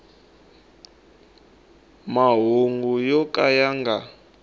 mahungu yo ka ya nga